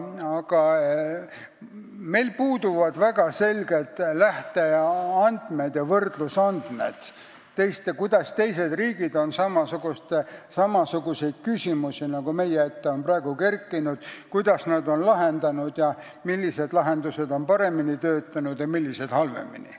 Aga meil puuduvad väga selged lähte- ja võrdlusandmed, kuidas on teised riigid lahendanud samasuguseid küsimusi, nagu meie ette praegu on kerkinud, ning millised lahendused on töötanud paremini ja millised halvemini.